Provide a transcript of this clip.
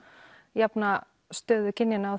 jafna stöðu kynjanna